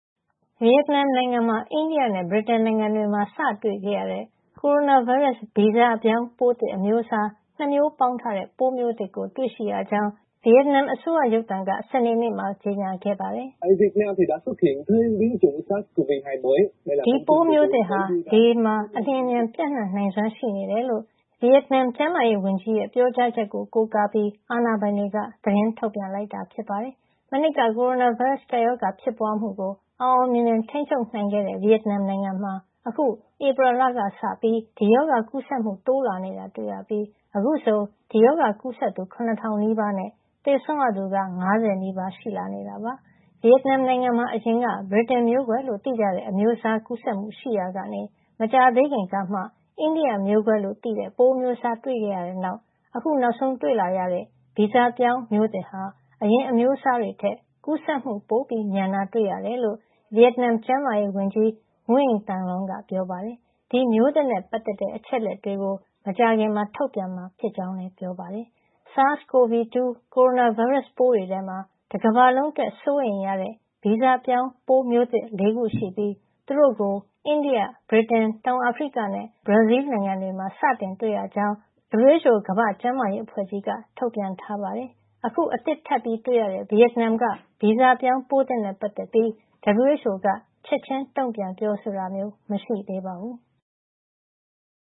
ဗီယက်နမ်နိုင်ငံမှာ အိန္ဒိယနဲ့ ဗြိတိန်နိုင်ငံတွေမှာ စတွေ့ခဲ့ရတဲ့ ကိုရိုနာဗိုင်းရပ်စ် ဗီဇပြောင်းပိုးသစ် အမျိုးအစား ၂ မျိုးပေါင်းထားတဲ့ ပိုးမျိုးသစ်ကို တွေ့ရှိရကြောင်း ဗီယက်နမ်အစိုးရ ရုပ်သံ VTV က စနေနေ့မှာ ကြေညာခဲ့ပါတယ်။ ဒီပိုးသစ်မျိုးဟာ လေမှာ အလျင်အမြန် ပျံ့နှံ့နိုင်စွမ်းရှိနေတယ်လို့ ဗီယက်နမ် ကျန်းမာရေးဝန်ကြီးရဲ့ ပြောကြားချက်ကို ကိုးကားပြီး အာဏာပိုင်တွေက သတင်းထုတ်ပြန်လိုက်တာ ဖြစ်ပါတယ်။ မနှစ်က ကိုရိုနာဗိုင်းရပ်စ် ကပ်ရောဂါ ဖြစ်ပွားမှုကို အောင်အောင်မြင်မြင် ထိန်းချုပ်နိုင်ခဲ့တဲ့ ဗီယက်နမ်နိုင်ငံမှာ အခု ဧပြီလကစပြီး ဒီရောဂါကူးစက်မှု တိုးလာနေတာ တွေ့ရပြီး အခုဆို ဒီရောဂါကူးစက်သူ ၇,၀၀၀ နီးပါးနဲ့ သေဆုံးရသူ ၅၀ နီးပါး ရှိလာနေတာပါ။ ဗီယက်နမ်နိုင်ငံမှာ အရင်က ဗြိတိန်မျိးကွဲလို့ သိကြတဲ့ အမျိုးအစား ကူးစက်မှုရှိနေရာကနေ မကြာသေးခင်ကမှ အိန္ဒိယမျိုးကွဲလို့ သိကြတဲ့ ပိုးအမျိုးအစား တွေ့ခဲ့ရတဲ့နောက် ခုနောက်ဆုံးတွေ့လာရတဲ့ ဗီဇပြောင်းမျိုးသစ်ဟာ အရင်အမျိုးအစားတွေထက် ကူးစက်မှု ပိုမြန်တာ တွေ့ရတယ်လို့ ဗီယက်နမ် ကျန်းမာရေးဝန်ကြီး Nguyen Thanh Long က ပြောပါတယ်။ ဒီမျိုးသစ်နဲ့ပတ်သက်တဲ့ အချက်လက်တွေကို မကြာခင်မှာ ထုတ်ပြန်မှာ ဖြစ်ကြောင်းလည်း ပြောပါတယ်။ SARS-CoV-2 ကိုရိုနာဗိုင်းရပ်စ် ပိုးတွေထဲမှာ တကမ္ဘာလုံးအတွက် စိုးရိမ်ရတဲ့ ဗီဇပြောင်းမျိုးသစ် ၄ ခုရှိပြီး သူတို့ကို အိန္ဒိယ၊ ဗြိတိန်၊ တောင်အာဖရိကနဲ့ ဘရာဇီးလ်နိုင်ငံတွေမှာ စတင်တွေ့ရကြောင်း WHO ကမ္ဘာ့ကျန်းမာရေးအဖွဲ့ကြီးက ထုတ်ပြန်ထားပါတယ်။ အခု အသစ်ထပ်တွေ့ရတဲ့ ဗီယက်နမ်က ဗီဇပြောင်းပိုးသစ်နဲ့ ပတ်သက်ပြီး WHO က ချက်ချင်း တုံ့ပြန်ပြောဆိုတာတော့ မရှိသေးပါဘူး။